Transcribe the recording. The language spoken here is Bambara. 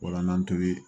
O la n'an tori